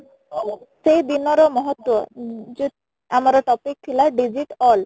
ସେଇ ଦିନର ମହତ୍ୱ ଯୋଉ ଆମର topic ଥିଲା digit all